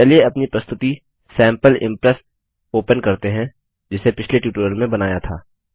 चलिए अपनी प्रस्तुतिप्रेजैटेशन सैंपल इम्प्रेस ओपन करते हैं जिसे पिछले ट्यूटोरियल में बनाया था